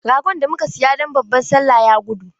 Ragon da muka saya don babban Sallah ya gudu.